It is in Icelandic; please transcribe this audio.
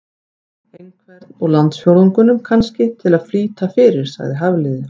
Einhvern úr landsfjórðungnum, kannski, til að flýta fyrir- sagði Hafliði.